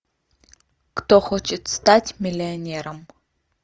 кто хочет стать миллионером